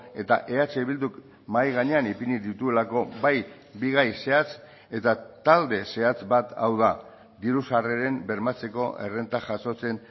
eta eh bilduk mahai gainean ipini dituelako bai bi gai zehatz eta talde zehatz bat hau da diru sarreren bermatzeko errenta jasotzen